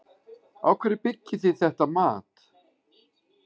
Á hverju byggið þið þetta mat?